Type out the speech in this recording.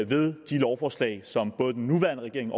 ved de lovforslag som den nuværende regering